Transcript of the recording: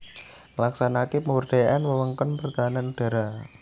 Nglaksanakaké pemberdayaan wewengkon pertahanan udhara